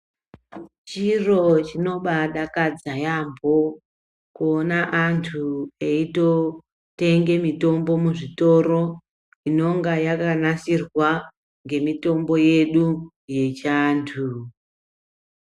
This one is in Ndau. Chiro chinobadakadza yambo kuona vantu eitotenge mutombo muzvitoro inonga yakanasirwa ngemutombo yedu yechiantu .